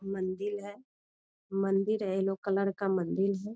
मंदिल है। मंदिर येलो कलर का मंदिल है।